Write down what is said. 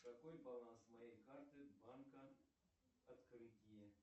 какой баланс моей карты банка открытие